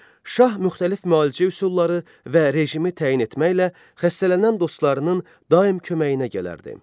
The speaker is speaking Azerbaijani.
Şah müxtəlif müalicə üsulları və rejimi təyin etməklə xəstələnən dostlarının daim köməyinə gələrdi.